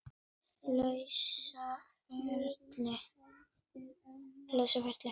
lausa ferli.